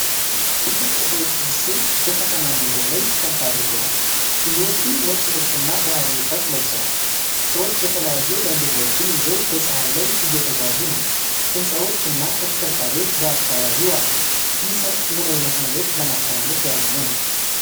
ትልቅ የሰዎች ስብስብ በከተማ መንገድ ላይ ሰልፍ አድርገዋል። ብዙዎቹ ነጭ ልብስና ባህላዊ ሻሽ ለብሰዋል። ሰዎች የተለያየ ባንዲራዎችን ይዘው በፀሓይ ላይ እየተጓዙ ነው። ሕንፃዎች እና ተሽከርካሪዎች በአካባቢው አሉ። ይህ ሰልፍ ምን ዓይነት መልዕክት ለማስተላለፍ ያለመ ነው?